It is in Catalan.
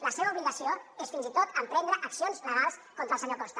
la seva obligació és fins i tot emprendre accions legals contra el senyor costa